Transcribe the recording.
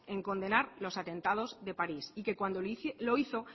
en condenar los atentados de parís y que cuando lo hizo